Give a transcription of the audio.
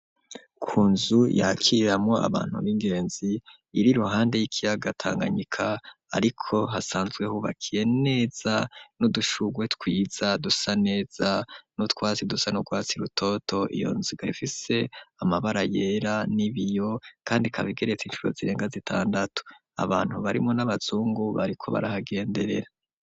Ku nzu yakiramwo abantu bingenzi iri ruhande y'ikiyaga tanganyika ariko hasanzwe hubakiye neza n'udushugwe twiza dusa neza nutwatsi dusa n'urwatsi rutoto iyo nziga ifise amabara yera n'ibiyo kandi ikaba igeretse inshuro zirenga zitandatu abantu barimwo n'abazungu bariko barahagenderera.